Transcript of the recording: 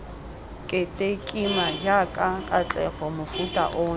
ketekima jaaka katlego mofuta ono